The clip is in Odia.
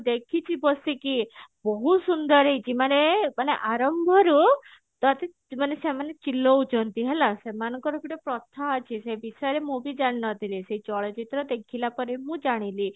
ଦେଖିଛି ବସିକି ବହୁତ ସୁନ୍ଦର ହେଇଛି ମାନେ ଆରମ୍ଭ ରୁ ତ ସେମାନେ ଚିଲଉ ଛନ୍ତି ହେଲା ସେମାନଙ୍କର ଗୋଟେ ପ୍ରଥା ଅଛି ସେ ବିଷୟରେ ମୁଁ ବି ଜାଣିନଥିଲି ସେ ଚଳଚିତ୍ର ଦେଖିଲା ପରେ ମୁଁ ଜାଣିଲି